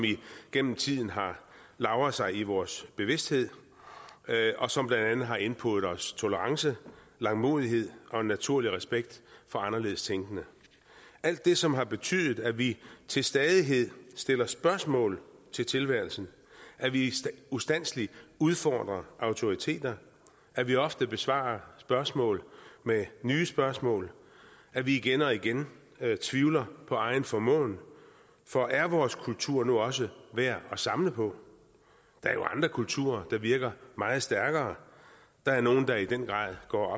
igennem tiden har lagret sig i vores bevidsthed og som blandt andet har indpodet os tolerance langmodighed og en naturlig respekt for anderledes tænkende alt det som har betydet at vi til stadighed stiller spørgsmål til tilværelsen at vi ustandselig udfordrer autoriteter at vi ofte besvarer spørgsmål med nye spørgsmål at vi igen og igen tvivler på egen formåen for er vores kultur nu også værd at samle på der er jo andre kulturer der virker meget stærkere der er nogle der i den grad går